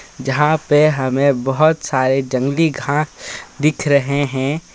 जहाँ पे हमें बहुत सारे जंगली घास दिख रहे हैं.